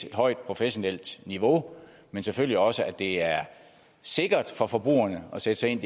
et højt professionelt niveau men selvfølgelig også for at det er sikkert for for kunderne at sætte sig ind